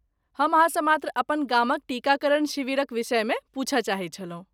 हम अहाँसँ मात्र अपन गामक टीकाकरण शिविरक विषयमे पूछय चाहैत छलहुँ।